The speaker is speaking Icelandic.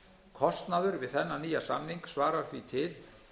kostnaður við þennan nýja samning svarar því til